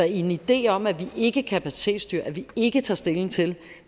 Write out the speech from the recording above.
en idé om at vi ikke kapacitetsstyrer og at vi ikke tager stilling til